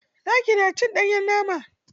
Zaki na cin ɗanyen nama.